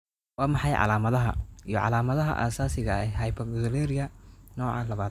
Waa maxay calaamadaha iyo calaamadaha asaasiga ah ee hyperoxaluria nooca laabad?